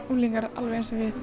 unglingar alveg eins og við